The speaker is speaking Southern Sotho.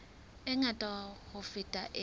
e ngata ho feta e